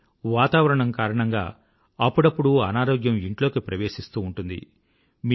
కానీ వాతావరణం కారణంగా అప్పుడప్పుడు అనారోగ్యం ఇంట్లోకి ప్రవేశిస్తూ ఉంటుంది